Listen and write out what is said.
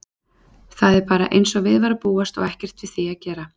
Það er bara einsog við var að búast og ekkert við því að gera.